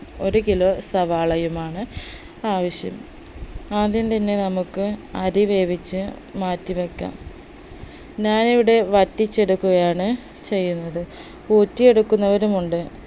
ഒരു കിലോ സവാളയുമാണ് ആവശ്യം ആദ്യം തന്നെ നമുക്ക് അരി വേവിച്ച് മാറ്റിവെക്കാം ഞാനിവിടെ വറ്റിച്ചെടുക്കുകയാണ് ചെയ്യുന്നത് ഊറ്റിയെടുക്കുന്നവരുണ്ട്